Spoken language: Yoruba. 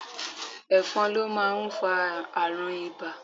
Ẹ̀fọn ló máa ń fa àrùn ibà